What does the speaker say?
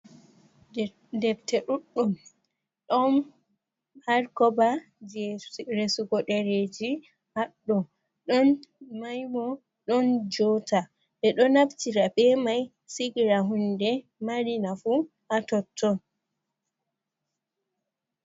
defte ɗuɗɗum ɗon had koba je resugo dereji haɗdo ɗon maimo ɗon jota be do nabtira be mai sigira hunde marina fu atotton